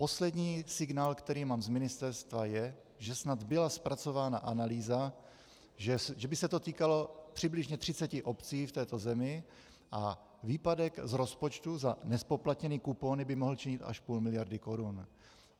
Poslední signál, který mám z ministerstva, je, že snad byla zpracována analýza, že by se to týkalo přibližně 30 obcí v této zemi a výpadek z rozpočtu za nezpoplatněné kupóny by mohl činit až půl miliardy korun.